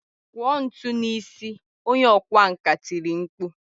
Kụọ ntu n'isi! Onye ọkwá nkà tiri mkpu.